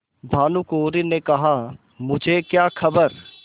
भानुकुँवरि ने कहामुझे क्या खबर